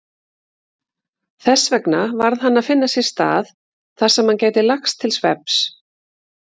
Þessvegna varð hann að finna sér stað þarsem hann gæti lagst til svefns.